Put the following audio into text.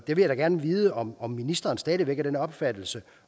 vil jeg da gerne vide om om ministeren stadig væk er af den opfattelse